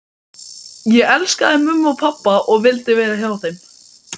Ég elskaði mömmu og pabba og vildi vera hjá þeim.